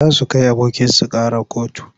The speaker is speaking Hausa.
Za su kai abokinsu ƙara kotu.